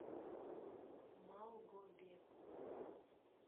малгобеку